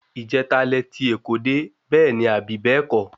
Ìjeta lẹ ti oko dé, bẹ́ẹ̀ní abi bẹ́ẹ̀kọ́?